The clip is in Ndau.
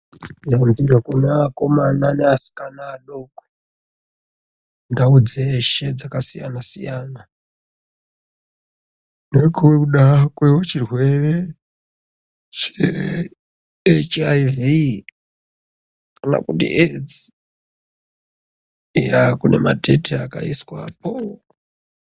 Yambiro kune akomana ngeasikana adoko ndau dzeshe dzakasiyana siyana nokuda kwechirwere che HIV kana kuti AIDS ya kune mateti akaiswapo.